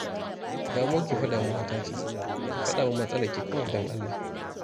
Damuwarki fa damuwata ce, ki fada min matsalarki kawai don Allah